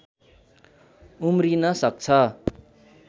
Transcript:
उम्रिन सक्छ